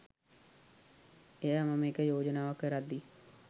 එයා මම එක යෝජනාවක් කරද්දි